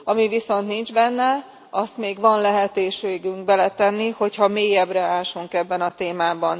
Ami viszont nincs benne, azt még van lehetőségünk beletenni, hogyha mélyebbre ásunk ebben a témában.